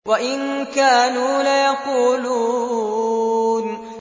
وَإِن كَانُوا لَيَقُولُونَ